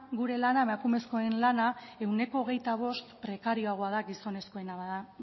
gure lana emakumezkoen lana ehuneko hogeita bost prekarioagoa da gizonezkoena